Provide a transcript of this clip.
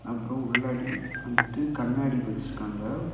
அப்றொ உள்ளடி வந்துட்டு கண்ணாடி வச்சிருக்காங்க.